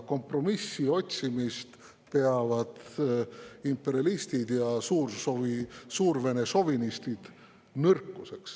Kompromissi otsimist peavad imperialistid ja suurvene šovinistid nõrkuseks.